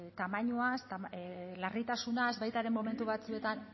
tamainaz larritasunaz baita ere momentu batzuetan